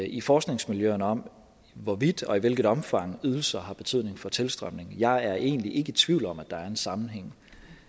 i forskningsmiljøerne om hvorvidt og i hvilket omfang ydelser har betydning for tilstrømningen jeg er egentlig ikke i tvivl om at der er en sammenhæng